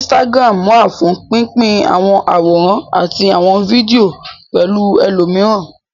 Instagram wà fún pín pín àwọn àwòrán àti àwọn fídíò pẹ̀lú ẹlòmíràn